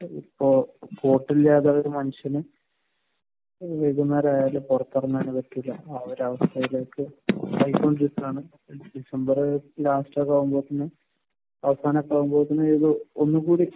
കോട്ടില്ലാതെ ഒരു മനുഷ്യനും പുറത്തിറങ്ങാൻ നിവർത്തിയില്ല. ആ ഒരു അവസ്ഥയിലേക്ക് ആയിക്കൊണ്ടിരിക്കുകയാണ്. ഡിസംബർ ലാസ്റ്റ് ഒക്കെ ആകുമ്പോഴത്തേക്കും